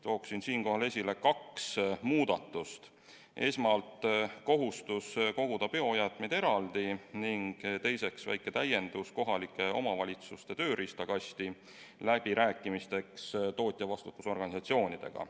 Toon esile kaks muudatust: esmalt kohustus koguda biojäätmeid eraldi, ning teiseks väike täiendus kohalike omavalitsuste tööriistakasti läbirääkimisteks tootjavastutusorganisatsioonidega.